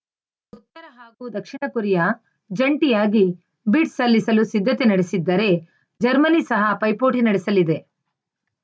ಉತ್ತರ ಹಾಗೂ ದಕ್ಷಿಣ ಕೊರಿಯಾ ಜಂಟಿಯಾಗಿ ಬಿಡ್‌ ಸಲ್ಲಿಸಲು ಸಿದ್ಧತೆ ನಡೆಸಿದ್ದರೆ ಜರ್ಮನಿ ಸಹ ಪೈಪೋಟಿ ನಡೆಸಲಿದೆ